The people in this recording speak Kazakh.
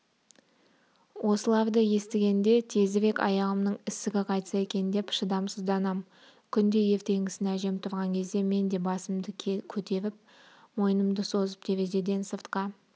осыларды естігенде тезірек аяғымның ісігі қайтса екен деп шыдамсызданам күнде ертеңгісін әжем тұрған кезде мен де басымды көтеріп мойнымды созып терезеден сыртқа